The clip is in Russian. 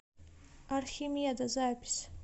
архимеда запись